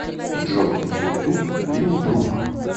джой на ютуб лил брук